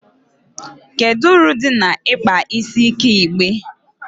kedu uru dị na ịkpa isi ike igbe?